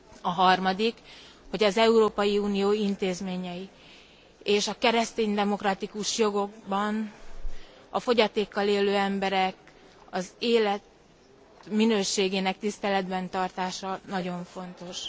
A harmadik, hogy az Európai Unió intézményei és a keresztény demokratikus jogokban a fogyatékkal élő emberek életminőségének tiszteletben tartása nagyon fontos.